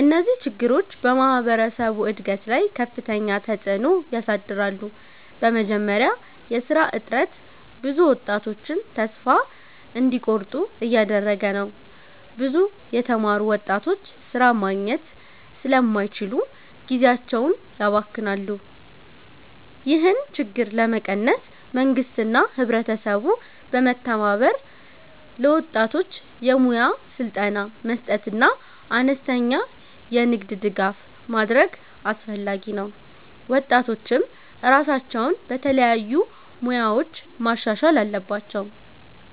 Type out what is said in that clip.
እነዚህ ችግሮች በማህበረሰቡ እድገት ላይ ከፍተኛ ተፅዕኖ ያሳድራሉ። በመጀመሪያ የሥራ እጥረት ብዙ ወጣቶችን ተስፋ እንዲቆርጡ እያደረገ ነው። ብዙ የተማሩ ወጣቶች ሥራ ማግኘት ስለማይችሉ ጊዜያቸውን ያባክናሉ። ይህን ችግር ለመቀነስ መንግስትና ህብረተሰቡ በመተባበር ለወጣቶች የሙያ ስልጠና መስጠትና አነስተኛ የንግድ ድጋፍ ማድረግ አስፈላጊ ነው። ወጣቶችም ራሳቸውን በተለያዩ ሙያዎች ማሻሻል አለባቸው።